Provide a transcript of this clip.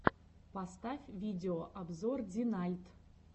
поставь видеообзор динальт